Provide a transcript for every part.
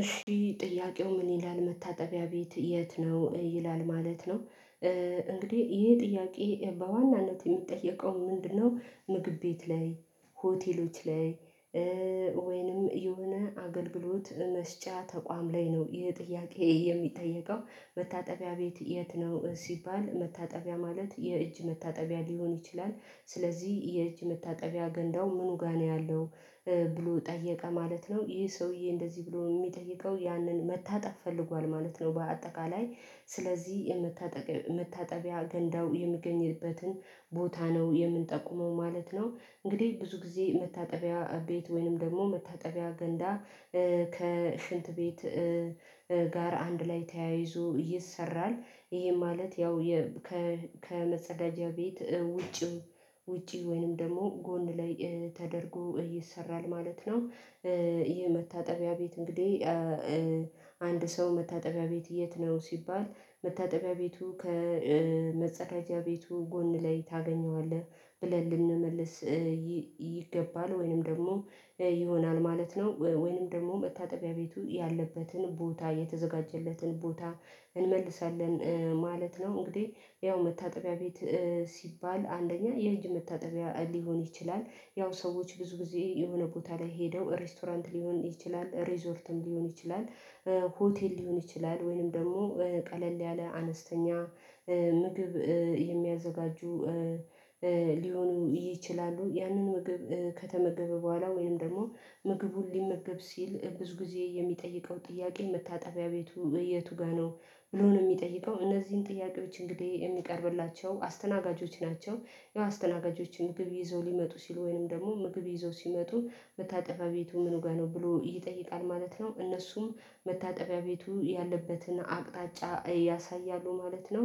እሺ ጥያቄው ምን ይላል? መታጠቢያ ቤት የት ነው? ይላል ማለት ነው እንግዲህ ይሄ ጥያቄ በዋናነት የሚጠየቀው ምንድነው? ምግብ ቤት ላይ ሆቴሎች ላይ ወይንም የሆነ አገልግሎት መስጫ ተቋም ላይ ነው ይህ ጥያቄ የሚጠየቀው መታጠቢያ ቤት የት ነው? ሲባል መታጠቢያ ማለት የእጅ መታጠቢያ ሊሆን ይችላል ስለዚህ የእጅ መታጠቢያ ገንዳው ምኑ ጋር ነው ያለው ብሎ ጠየቀ ማለት ነው። ይህ ሰውዬ እንደዚህ ብሎ የሚጠይቀው ያንን መታጠብ ፈልጓል ማለት ነው። በአጠቃላይ ስለዚህ የመታጠቢያ ገንዳው የሚገኝበትን ቦታ ነው የምንጠቁመው ማለት ነው። እንግዲህ ብዙ ጊዜ መታጠቢያ ቤት ወይንም ደግሞ መታጠቢያ ገንዳ ከሽንት ቤት ጋር አንድ ላይ ተያይዞ ይሰራል። ይሄ ማለት ያው ከመጸዳጃ ቤት ውጪ ውጪ ወይንም ደግሞ ጎን ላይ ተደርጎ ይሰራል ማለት ነው። ይህ መታጠቢያ ቤት እንግዲህ አንድ ሰው መታጠቢያ ቤት የት ነው ሲባል መታጠቢያ ቤቱ ከመጸዳጃ ቤቱ ጎን ላይ ታገኘዋለህ ብለን ልንመልስ ይገባል ወይንም ደግሞ ይሆናል ማለት ነው። ወይንም ደግሞ መታጠቢያ ቤቱ ያለበትን ቦታ የተዘጋጀለትን ቦታ እንመልሳለን ማለት ነው። እንግዲህ ያው መታጠቢያ ቤት ሲባል አንደኛ የእጅ መታጠቢያ ሊሆን ይችላል። ያው ሰዎች ብዙ ጊዜ የሆነ ቦታ ላይ ሄደው ሬስቶራንት ሊሆን ይችላል ሪዞርትም ሊሆን ይችላል ሆቴል ሊሆን ይችላል ወይንም ደግሞ ቀለል ያለ አነስተኛ ምግብ የሚያዘጋጁ ሊሆኑ ይችላሉ። ያንን ምግብ ከተመገበ በኋላ ወይም ደግሞ ምግቡን ሊመገብ ሲል ብዙ ጊዜ የሚጠይቀው ጥያቄ መታጠቢያ ቤቱ የቱ ጋር ነው ብሎ ነው የሚጠይቀው እነዚህን ጥያቄዎች እንግዲህ የሚቀርብላቸው አስተናጋጆች ናቸው። ያው አስተናጋጆችን ምግብ ይዘው ሊመጡ ሲሉ ወይንም ደግሞ ምግብ ይዘው ሲመጡ መታጠቢያ ቤቱ ምን ውጋ ነው ብሎ ይጠይቃል ማለት ነው። እነሱም መታጠቢያ ቤቱ ያለበትን አቅጣጫ ያሳያሉ ማለት ነው።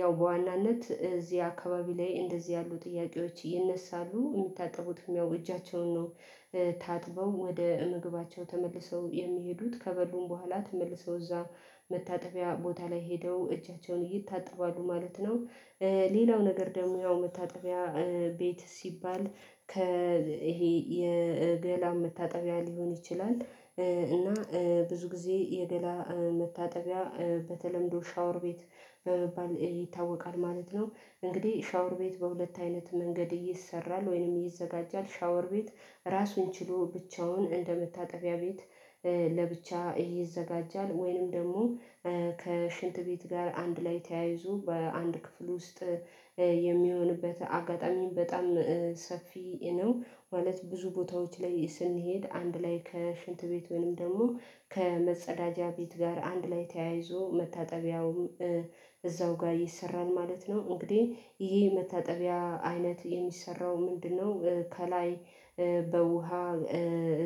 ያው በዋናነት እዚህ አካባቢ ላይ እንደዚህ ያሉ ጥያቄዎች ይነሳሉ የሚታጠቡትም ያው እጃቸውን ነው ታጥበው ወደ ምግባቸው ተመልሰው የሚሄዱት ከበሉም በኋላ ተመልሰው እዛ መታጠቢያ ቦታ ላይ ሄደው እጃቸውን ይታጠባሉ ማለት ነው። ሌላው ነገር ደግሞ ያው መታጠቢያ ቤት ሲባል ከ ይሄ የገላ መታጠቢያ ሊሆን ይችላል እና ብዙ ጊዜ የገላ መታጠቢያ በተለምዶ ሻወር ቤት በመባል ይታወቃል ማለት ነው። እንግዲህ ሻወር ቤት በሁለት አይነት መንገድ ይሰራል ወይንም ይዘጋጃል ሻወር ቤት ራሱን ችሎ ብቻውን እንደመታጠቢያ ቤት ለብቻ ይዘጋጃል ወይንም ደግሞ ከሽንት ቤት ጋር አንድ ላይ ተያይዞ በአንድ ክፍል ውስጥ የሚሆንበት አጋጣሚም በጣም ሰፊ ነው። ማለት ብዙ ቦታዎች ላይ ስንሄድ አንድ ላይ ከሽንት ቤት ወይም ደግሞ ከመጸዳጃ ቤት ጋር አንድ ላይ ተያይዞ መታጠቢያውም እዛው ጋር ይሰራል ማለት ነው። እንግዲህ ይሄ መታጠቢያ አይነት የሚሰራው ምንድነው? ከላይ በውሃ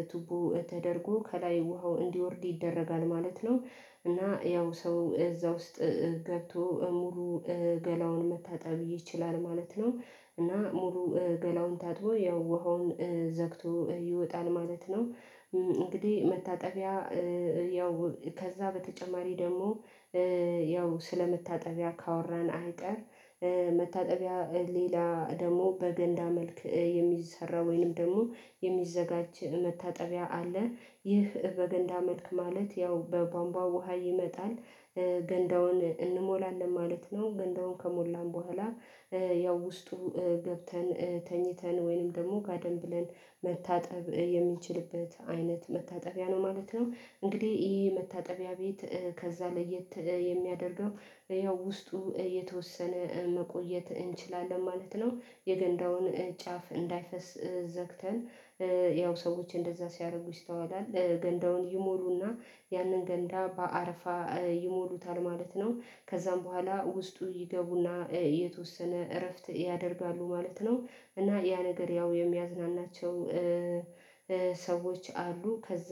እቱቦ ተደርጎ ከላይ ውሃው እንዲወርድ ይደረጋል ማለት ነው። እና ያው ሰው እዛ ውስጥ ገብቶ ሙሉ ገላውን መታጠብ ይችላል ማለት ነው። እና ሙሉ ገላውን ታጥቦ ያው ውሃውን ዘግቶ ይወጣል ማለት ነው። እንግዲህ መታጠቢያ ያው ከዛ በተጨማሪ ደግሞ ያው ስለ መታጠቢያ ካወራን አይቀር መታጠቢያ ሌላ ደግሞ በገንዳ መልክ የሚሰራ ወይንም ደግሞ የሚዘጋጅ መታጠቢያ አለ። ይህ በገንዳ መልክ ማለት ያው በቧንቧ ውሃ ይመጣል ገንዳውን እንሞላለን ማለት ነው ገንዳውን ከሞላን በኋላ ያው ውስጡ ገብተን ተኝተን ወይንም ደግሞ ጋደም ብለን መታጠብ የሚችልበት አይነት መታጠቢያ ነው ማለት ነው። እንግዲህ ይሄ መታጠቢያ ቤት ከዛ ለየት የሚያደርገው ያው ውስጡ የተወሰነ መቆየት እንችላለን ማለት ነው። የገንዳውን ጫፍ እንዳይፈስ ዘግተን ያው ሰዎች እንደዛ ሲያደርጉ ይስተዋላል ገንዳውን ይሞሉና ያንን ገንዳ በአረፋ ይሞሉታል ማለት ነው። ከዛም በኋላ ውስጡ ይገቡና የተወሰነ እረፍት ያደርጋሉ ማለት ነው። እና ያ ነገር ያው የሚያዝናናቸው ሰዎች አሉ ከዛ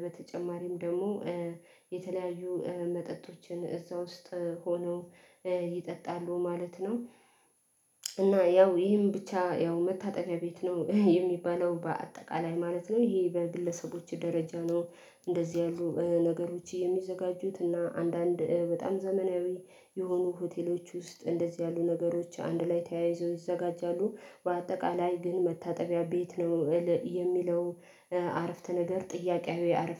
በተጨማሪም ደግሞ የተለያዩ መጠጦችን እዛ ውስጥ ሆነው ይጠጣሉ ማለት ነው። እና ያው ይሄን ብቻ ያው መታጠቢያ ቤት ነው የሚባለው በአጠቃላይ ማለት ነው። ይሄ በግለሰቦች ደረጃ ነው እንደዚህ ያሉ ነገሮች የሚዘጋጁት እና አንዳንድ በጣም ዘመናዊ የሆኑ ሆቴሎች ውስጥ እንደዚህ ያሉ ነገሮች አንድ ላይ ተያይዞ ይዘጋጃሉ። በአጠቃላይ ግን መታጠቢያ ቤት ነው። የሚለው አረፍተ ነገር ጥያቄያዊ